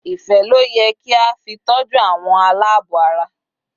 Ife loye ki a fi toju awon alaabo ara